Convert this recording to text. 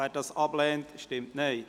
Wer dies ablehnt, stimmt Nein.